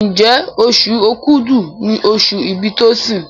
Njé Oṣù Òkúdu ní oṣù ibì Tosin?